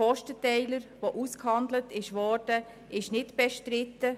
Der ausgehandelte Kostenteiler ist nicht bestritten.